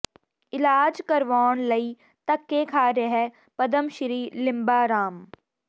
ਇਲਾਜ ਕਰਵਾਉਣ ਲਈ ਧੱਕੇ ਖਾ ਰਿਹੈ ਪਦਮਸ੍ਰੀ ਲਿੰਬਾ ਰਾਮ